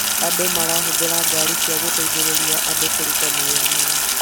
Andũ marahũthĩra ngaari cia gũteithĩrĩria andũ kũruta mawĩra mao